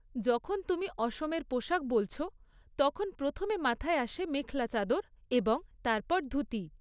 যখন তুমি অসমের পোশাক বলছ, তখন প্রথমে মাথায় আসে মেখলা চাদর এবং তারপর ধুতি।